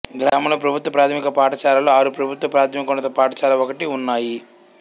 గ్రామంలో ప్రభుత్వ ప్రాథమిక పాఠశాలలు ఆరు ప్రభుత్వ ప్రాథమికోన్నత పాఠశాల ఒకటి ఉన్నాయి